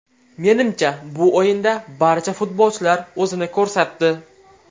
Menimcha, bu o‘yinda barcha futbolchilar o‘zini ko‘rsatdi.